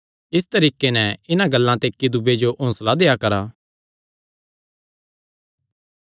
इस तरीके नैं इन्हां गल्लां ते इक्की दूये जो हौंसला देआ करा